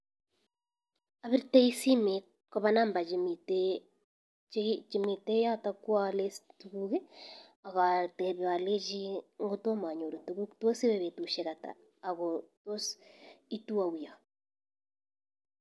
Abirtei simet koba nambait chemiten yoto kwolen tukuk akatepe alechi ngotomanyoru tukuk tos iwe betushek ata ako tos itu ou yo.